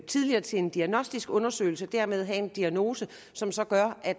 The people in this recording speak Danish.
tidligere til en diagnostisk undersøgelse og dermed få en diagnose som så gør at